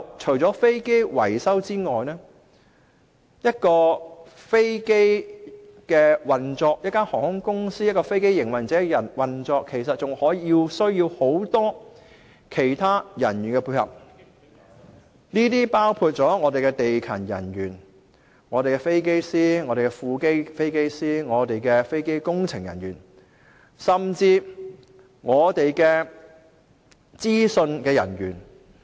再者，除了飛機維修外，當一間航空公司或飛機營運者要運作時，其實還需要很多其他人員配合，包括地勤人員、飛機師、副飛機師、飛機工程人員，甚至資訊人員等。